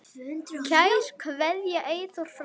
Kær kveðja, Eyþór frændi.